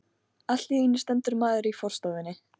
Allt í einu stendur maður í forstofunni.